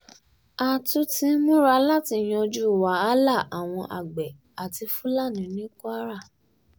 a ti ti ń múra láti yanjú wàhálà àwọn àgbẹ̀ àti fúlàní ní kwara